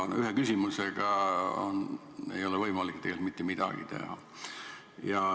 Aga ühe küsimusega ei ole võimalik tegelikult mitte midagi teha.